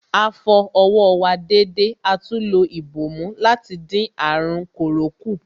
A fọ ọwọ́ wa dédé atún lo ìbòmú láti dín àrùn kòró kù.